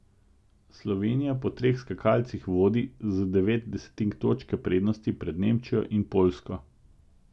Slovenija po treh skakalcih vodi z devet desetink točke prednosti pred Nemčijo in Poljsko.